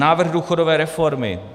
Návrh důchodové reformy.